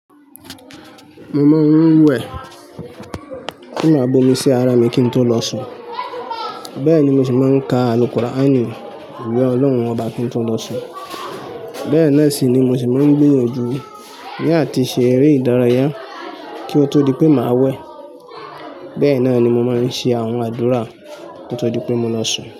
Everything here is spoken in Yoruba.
Mo máa ń wẹ̀ kí màá bomi sí ara mi kí n tó lọ sùn. Bẹ́ẹ̀ ni mo sì máa ń ka àlùkọ́ raánì ìwé Ọlọ́run ọba kí n tó lọ sùn. Bẹ́ẹ̀ náà sì ni mo sì máa ń gbéyànjú ní àti ṣe eré ìdárayá kí ó tó di pé màá wẹ̀. Bẹ́ẹ̀ náà ni mo máa ń ṣe àwọn àdúrà kí ó tó di pé mo lọ sùn.